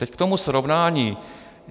Teď k tomu srovnání.